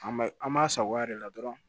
An ma an b'a sagoya de la dɔrɔn